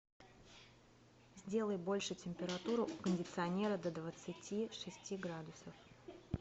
сделай больше температуру у кондиционера до двадцати шести градусов